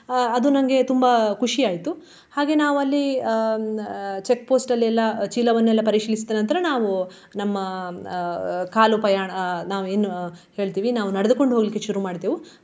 ಆ ಅದು ನನ್ಗೆ ತುಂಬಾ ಖುಷಿಯಾಯ್ತು. ಹಾಗೆ ನಾವು ಅಲ್ಲಿ ಆ checkpost ಲ್ಲಿ ಎಲ್ಲ ಚೀಲವನ್ನೆಲ್ಲ ಪರಿಶೀಲಿಸಿದ ನಂತರ ನಾವು ನಮ್ಮ ಅಹ್ ಕಾಲುಪಯಾಣ ಆ ನಾವ್ ಏನು ಹೇಳ್ತಿವಿ ನಾವು ನಡೆದುಕೊಂಡು ಹೋಗ್ಲಿಕ್ಕೆ ಶುರು ಮಾಡಿದೆವು.